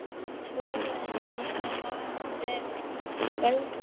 Trúirðu því að hún hafi verið göldrótt.